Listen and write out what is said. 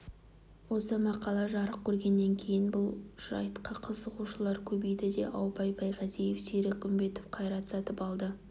осы мақала жарық көргеннен кейін бұл жайтқа қызығушылар көбейді де аубай байғазиев серік үмбетов қайрат сатыбалды